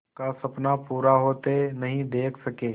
का सपना पूरा होते नहीं देख सके